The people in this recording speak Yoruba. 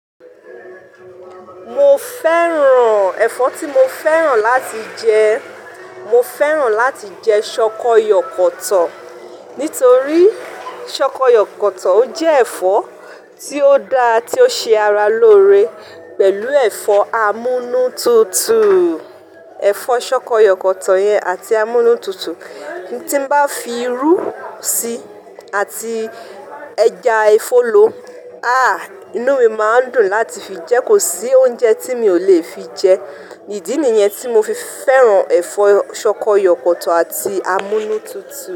Mo fẹ́ràn, ẹ̀fọ́ tí mo fẹ́ràn láti jẹ, mo fẹ́ràn láti jẹ ṣọkọ yọ kọ̀tọ̀. Nítorí ṣọkọ yọ kọ̀tọ̀ ó jẹ́ ẹ̀fọ́ tí ó dá, tí ó ṣe ara lóore pẹ̀lú ẹ̀fọ́ amúnú tutù. Ẹ̀fọ́ ṣọkọ yọ kọ̀tọ̀ yẹn àti amúnú tutù tí n bá fi irú síi àti ẹja efólo, ah! Inú mi máa ń dùn láti fi jẹ́. Kò sí oúnjẹ tí mi ò lè fi jẹ. Ìdí nìyẹn tí mo fi fẹ́ràn ẹ̀fọ́ ṣọkọ yọ kọ̀tọ̀ àti amúnú tutù.